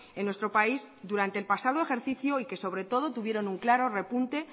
en nuestro país durante el pasado ejercicio y que sobre todo tuvieron un claro repunte